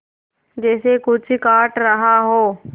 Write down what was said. जैसे कुछ काट रहा हो